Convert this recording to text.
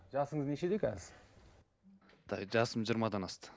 жасыңыз нешеде қазір жасым жиырмадан асты